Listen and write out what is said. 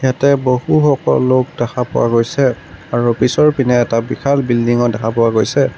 তে বহুসকল লোক দেখা পোৱা গৈছে আৰু পিছৰ পিনে এটা বিশাল বিল্ডিং ও দেখা পোৱা গৈছে।